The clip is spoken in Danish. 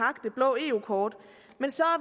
eu kort men så